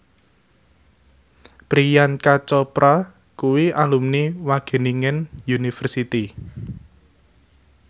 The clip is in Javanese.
Priyanka Chopra kuwi alumni Wageningen University